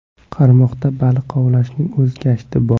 Qarmoqda baliq ovlashning o‘z gashti bor.